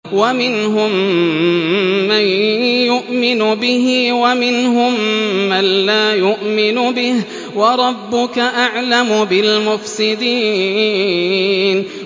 وَمِنْهُم مَّن يُؤْمِنُ بِهِ وَمِنْهُم مَّن لَّا يُؤْمِنُ بِهِ ۚ وَرَبُّكَ أَعْلَمُ بِالْمُفْسِدِينَ